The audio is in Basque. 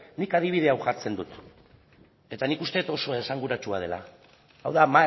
nik adibide hau jartzen dut eta nik uste dut oso esanguratsua dela hau da